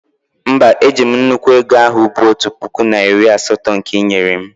mba, eji'm nnukwu ego ahu bụ otu puku na iri asatọ nke ị nyere m